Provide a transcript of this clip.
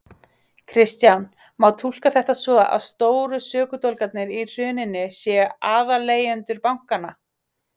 Kristján: Má túlka þetta svo að stóru sökudólgarnir í hruninu séu aðaleigendur bankanna?